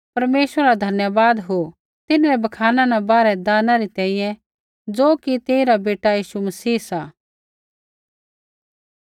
परमेश्वरा रा धन्यवाद हो तिन्हरै बखाना न बाहर दाना री तैंईंयैं ज़ो कि तेइरा बेटा यीशु मसीह सा